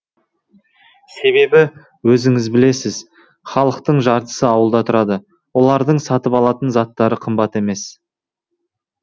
себебі өзіңіз білесіз халықтың жартысы ауылда тұрады олардың сатып алатын заттары қымбат емес